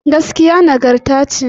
Gaskiya nagarta ce